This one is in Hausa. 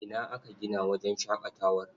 Ina aka gina wajen shaƙatawar?